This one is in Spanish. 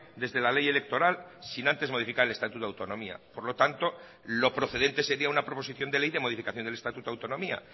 desde la ley electoral sin antes modificar el estatuto de autonomía por lo tanto lo procedente sería una proposición de ley de modificación del estatuto de autonomía